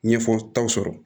Ɲɛfɔtaw sɔrɔ